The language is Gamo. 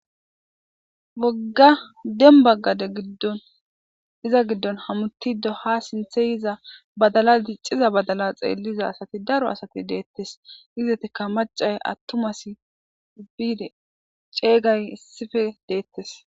wogga denbaggade giddon iza giddon hamutido ha sinthe iza badala dicciza badala xeelliza asati daro asati deettes izetika macay attumas biide ceeygay issife deettes